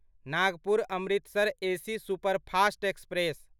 Nagpur Amritsar AC superfast express